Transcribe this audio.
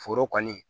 Foro kɔni